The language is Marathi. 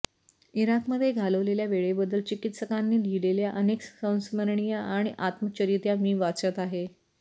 इराकमध्ये घालवलेल्या वेळेबद्दल चिकित्सकांनी लिहिलेल्या अनेक संस्मरणीय आणि आत्मचरित्या मी वाचत आहे